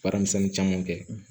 Baaramisɛnnin caman kɛ